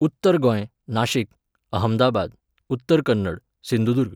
Uttar Goa, Nashik, Ahmedabad, Uttara Kannada, Sindhudurg